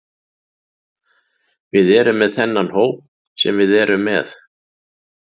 Við erum með þennan hóp sem við erum með.